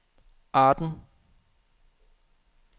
Arden